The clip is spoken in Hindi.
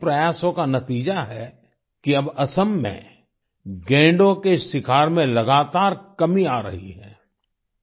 ऐसे ही प्रयासों का नतीजा है कि अब असम में गैंडों के शिकार में लगातार कमी आ रही है